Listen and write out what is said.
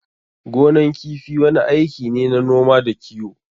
Gonan kifi wani aiki ne na noma da kiwo.